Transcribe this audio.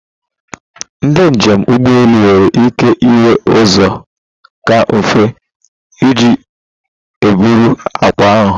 Ndị njem ụgbọ elu nwere ike ịnwe ụzọ kaa nfe iji eburu akpa ha.